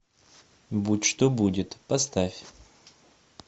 будь что будет поставь